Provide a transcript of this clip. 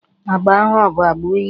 Agba ahụ ọ bụ agba uhie?